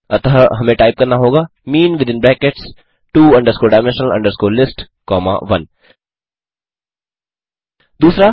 अतः हमें टाइप करना होगा mean within brackets two dimensional list comma 1 2